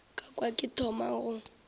ka kwa ke thoma go